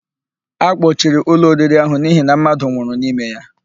A kpọchiri ụlọ oriri ahụ n'ihi na mmadụ nwụrụ n'ime ya.